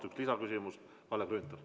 Kalle Grünthal!